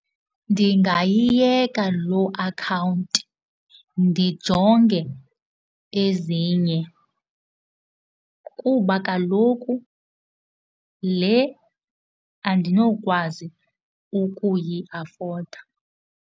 Ndingayiyeka loo akhawunti ndijonge ezinye kuba kaloku le andinokwazi ukuyiafoda.